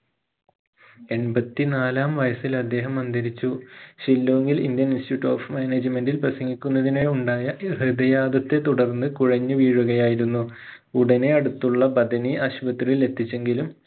എൺപത്തി നാലാം വയസ്സിൽ അദ്ദേഹം അന്തരിച്ചു ഷില്ലോങിൽ indian institute of management ഇൽ പ്രസംഗിക്കുന്നതിനെ ഉണ്ടായ ഹൃദയാതത്തെ തുടർന്ന് കുഴഞ്ഞുവീഴുകയായിരുന്നു ഉടനെ അടുത്തുള്ള ബഥനി ആശുപത്രിയിലെത്തിച്ചെങ്കിലും